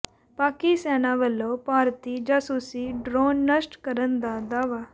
ਪਾਕਿ ਸੈਨਾ ਵਲੋਂ ਭਾਰਤੀ ਜਾਸੂਸੀ ਡ੍ਰੋਨ ਨਸ਼ਟ ਕਰਨ ਦਾ ਦਾਅਵਾ